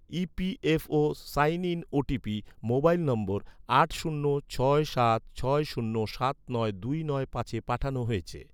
EPFO sign in OTP, mobile number, আট শূন্য ছয় সাত ছয় শূন্য সাত নয় দুই নয় পাঁচে পাঠানো হয়েছে